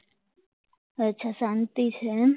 અચ્છા શાંતિ છે એમ